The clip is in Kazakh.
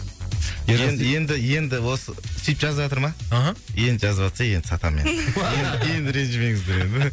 енді енді енді осы сүйтіп жазыватырма аха енді жазыватса енді сатамын енді енді ренжімеңіздер енді